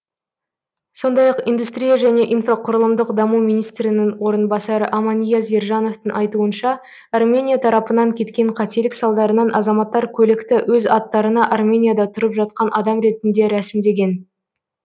сондай ақ индустрия және инфрақұрылымдық даму министрінің орынбасары аманияз ержановтың айтуынша армения тарапынан кеткен қателік салдарынан азаматтар көлікті өз аттарына арменияда тұрып жатқан адам ретінде рәсімдеген